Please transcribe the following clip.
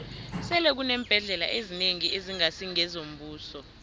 sele kuneembhendlela ezinengi ezingasi ngezombuso